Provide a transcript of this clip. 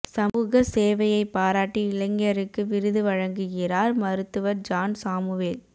சமூக சேவையை பாராட்டி இளைஞருக்கு விருது வழங்குகிறாா் மருத்துவா் ஜாண் சாமுவேல்